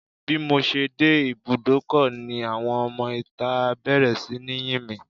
Bímọ ṣe dé ibúdókọ̀ ni àwọn ọmọ ìta bẹ̀rẹ̀ sí ní yìn mí